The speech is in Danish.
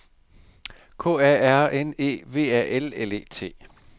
K A R N E V A L L E T